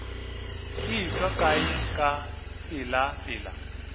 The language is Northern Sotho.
e tšwa kae ka pelapela